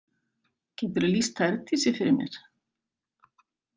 Geturðu lýst Herdísi fyrir mér?